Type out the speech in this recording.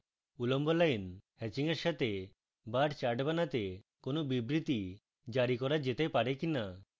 উল্লম্ব line হ্যাচিংয়ের সাথে bar chart বানাতে কোন বিবৃতি জারি করা যেতে bar কিনা